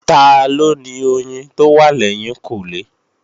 Taló ni oyin tó wà lẹ́yìnkùnlé?